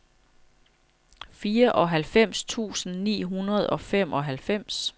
fireoghalvfems tusind ni hundrede og femoghalvfems